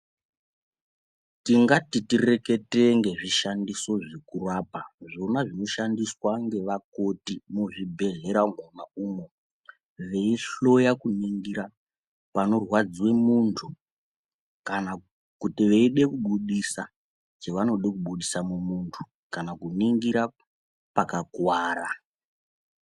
Tingati titaure nezvinhu zvekurapa zvinoshandiswa nemanurse muzvipatara vechida kutarisa panorwadziwa munhu kana kuti vachida kubudisa chavanoda kubudisa mumunhu kana kutarisa pakakuvara.